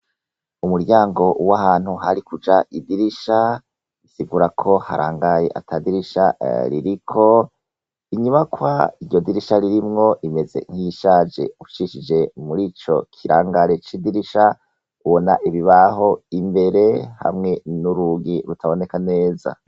Umuryango wahantu harikuja idirisha bisigurako harangaye atadirisha ririko inyubakwa iryodirisha ririmwo imeze nkiyishaje ucishije murico kirangare cidirisha ubona ibibaho imbere hamwe nurugi rutaboneka neza